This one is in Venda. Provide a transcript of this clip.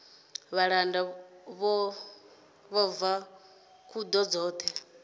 vhalanda vho bva khuḓa dzoṱhe